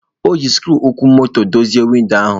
O ji sikruuokwomotodozie windo ahụ.